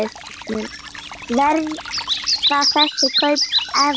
Verða þessi kaup efnd?